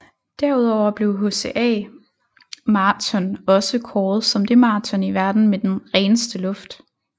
Derudover blev HCA Marathon også kåret som det marathon i verden med den reneste luft